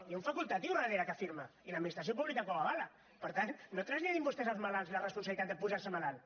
hi ha un facultatiu darrere que firma i l’administració pública que ho avala per tant no traslladin vostès als malalts la responsabilitat de posar se malalt